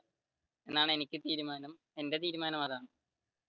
എന്റെ തീരുമാനം അതാണ്